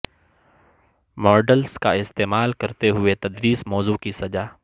models کا استعمال کرتے ہوئے تدریس موضوع کی سزا